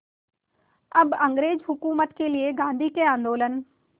अब अंग्रेज़ हुकूमत के लिए गांधी के आंदोलन